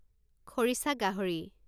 খৰিছা গাহৰি